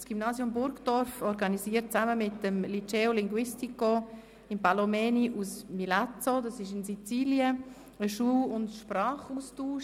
Das Gymnasium Burgdorf organisiert zusammen mit dem Liceo Linguistico Impallomeni aus Milazzo, Sizilien, einen Schul- und Sprachaustausch.